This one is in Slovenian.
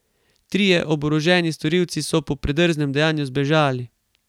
Trije oboroženi storilci so po predrznem dejanju zbežali.